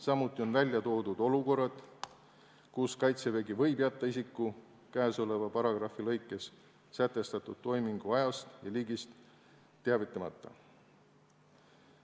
Samuti on ära toodud olukorrad, kus Kaitsevägi võib jätta isiku käesoleva paragrahvi lõikes sätestatud toimingu ajast ja liigist teavitamata.